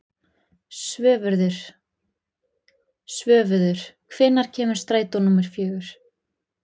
Svörfuður, hvenær kemur strætó númer fjögur?